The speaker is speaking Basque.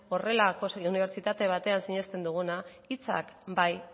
horrelako unibertsitate batean sinesten duguna hitzak bai